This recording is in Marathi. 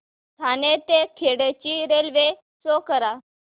ठाणे ते खेड ची रेल्वे शो करा